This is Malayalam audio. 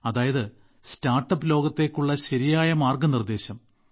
അതായത് സ്റ്റാർട്ട്അപ്പ് ലോകത്തേക്കുള്ള ശരിയായ മാർഗനിർദ്ദേശം